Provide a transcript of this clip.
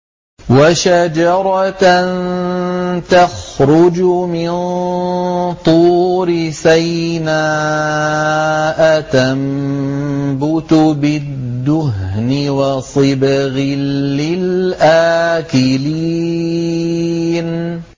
وَشَجَرَةً تَخْرُجُ مِن طُورِ سَيْنَاءَ تَنبُتُ بِالدُّهْنِ وَصِبْغٍ لِّلْآكِلِينَ